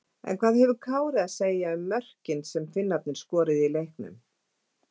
En hvað hefur Kári að segja um mörkin sem Finnarnir skoruðu í leiknum?